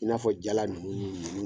I n'a fɔ jala ninnu ni